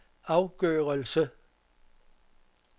afgørelse